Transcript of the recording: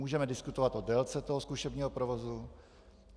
Můžeme diskutovat o délce toho zkušebního provozu.